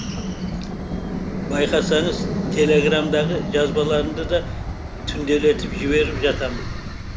байқасаңыз телеграмдағы жазбаларымды да түнделетіп жіберіп жатамын